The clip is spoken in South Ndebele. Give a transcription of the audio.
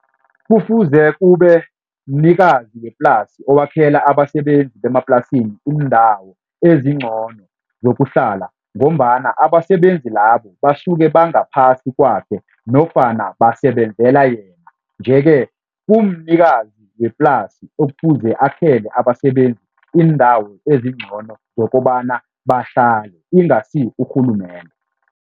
Kufuze kube mnikazi weplasi owakhela abasebenzi bemaplasini iindawo ezingcono zokuhlala ngombana abasebenzi labo basuke bangaphasi kwakhe nofana basebenzela yena nje-ke kumnikazi weplasi ofuze akhele abasebenzi iindawo ezingcono zokobana bahlale, ingasi urhulumende.